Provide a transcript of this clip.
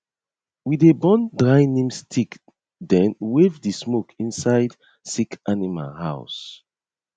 we dey burn dry neem stick then wave the smoke inside sick animal house